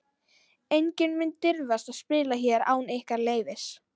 Enginn mun dirfast að spila hér án ykkar leyfis.